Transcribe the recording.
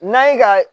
N'a ye ka